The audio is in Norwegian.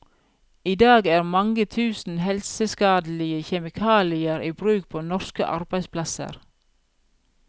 I dag er mange tusen helseskadelige kjemikalier i bruk på norske arbeidsplasser.